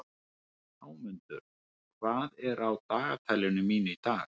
Hámundur, hvað er á dagatalinu mínu í dag?